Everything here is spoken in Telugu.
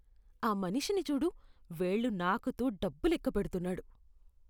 ఆ మనిషిని చూడు. వేళ్లు నాకుతూ డబ్బు లెక్కపెడుతున్నాడు.